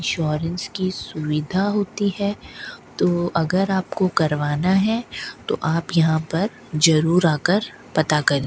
Insurance की सुविधा होती है तो अगर आपको करवाना है तो आप यहां पर जरूर आ कर पता करें।